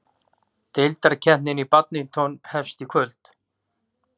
Deildakeppnin í badminton hefst í kvöld